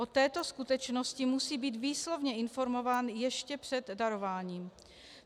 O této skutečnosti musí být výslovně informován ještě před darováním.